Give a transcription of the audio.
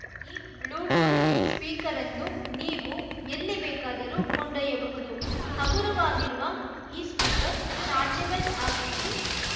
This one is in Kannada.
ಈ ಬ್ಲೂಟೂತ್‌ ಸ್ಪೀಕರ್‌ನ್ನು ನೀವು ಎಲ್ಲಿ ಬೇಕಾದರೂ ಕೊಂಡೊಯ್ಯಬಹುದು ಹಗುರವಾಗಿರುವ ಈ ಸ್ಪೀಕರ್‌ ಚಾರ್ಜೆಬಲ್‌ ಆಗಿದ್ದು